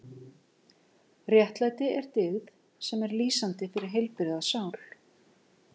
Réttlæti er dyggð sem er lýsandi fyrir heilbrigða sál.